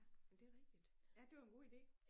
Ja men det er rigtigt ja det var en god idé